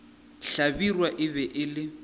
hlabirwa e be e le